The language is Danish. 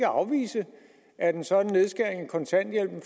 afvise at en sådan nedskæring i kontanthjælpen